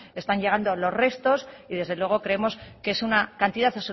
están llegando los restos y desde luego creemos que es una cantidad